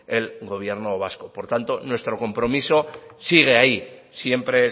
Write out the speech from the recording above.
el gobierno vasco por tanto nuestro compromiso sigue ahí siempre